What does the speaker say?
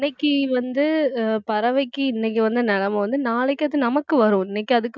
இன்னைக்கு வந்து அஹ் பறவைக்கு இன்னைக்கு வந்த நிலைமை வந்து நாளைக்கு அது நமக்கும் வரும் இன்னைக்கு அதுக்கு